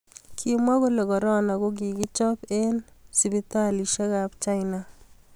kimwa kole korona ko kikichop eng hosiptalishiek ab china